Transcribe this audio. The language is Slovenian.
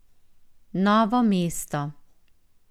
Novo mesto.